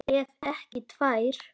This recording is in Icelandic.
Ef ekki tvær.